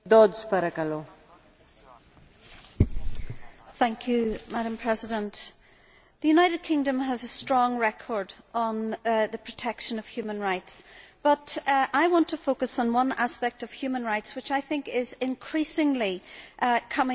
Madam President, the United Kingdom has a strong record on the protection of human rights, but I want to focus on one aspect of human rights which I think is increasingly coming under threat, and that is freedom of religious expression.